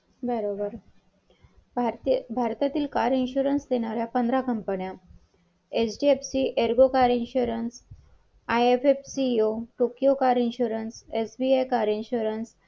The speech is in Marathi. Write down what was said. तुम्हाला आहे ना त्यांनी पावती दिली साडेतीनशे रुपयांची मी पावती फाडली आणि ती दिली आणि number पण दिलेला तुम्हाला phone लावून देते तुम्ही बोला त्यांच्याबरोबर.